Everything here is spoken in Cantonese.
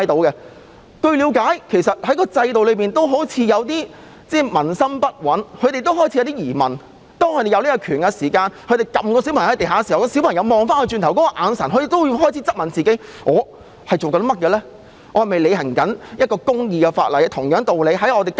據了解，警方內部似乎有些軍心不穩，警察行使權力把一個小孩按在地上，看到小孩回望他的眼神時，他會質問自己正在做甚麼，是否正在根據一項公義的法例履行職責。